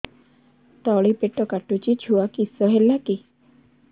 ତଳିପେଟ କାଟୁଚି ଛୁଆ କିଶ ହେଲା କି